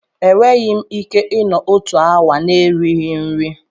Enweghị m ike ịnọ otu awa na-erighị nri.